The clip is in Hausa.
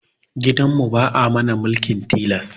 Gidan mu ba'a mana mulkin tilas